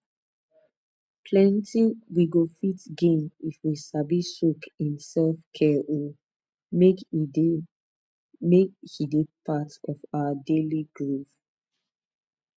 plenty we go fit gain if we sabi soak in selfcare oh make e dey make e dey part of our daily groove